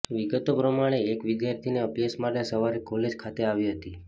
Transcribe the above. વિગતો પ્રમાણે એક વિદ્યાર્થિની અભ્યાસ માટે સવારે કોલેજ ખાતે આવી હતી